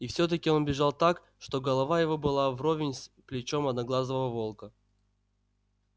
и все таки он бежал так что голова его была вровень с плечом одноглазого волка